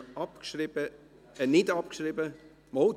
Sie haben diese Motion abgeschrieben, nein, nicht abgeschrieben ...